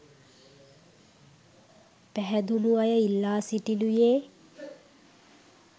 පැහැදුන අය ඉල්ලා සිටිනුයේ...